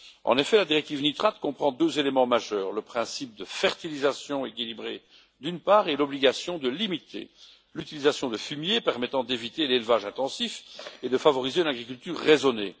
En effet, la directive nitrates comprend deux éléments majeurs d'une part, le principe de fertilisation équilibrée et, d'autre part, l'obligation de limiter l'utilisation de fumier, permettant d'éviter l'élevage intensif et de favoriser une agriculture raisonnée.